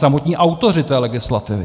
Samotní autoři té legislativy.